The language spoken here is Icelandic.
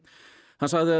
hann sagði að